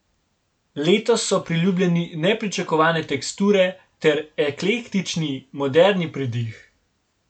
Letos so priljubljeni nepričakovane teksture ter eklektični, moderni pridih.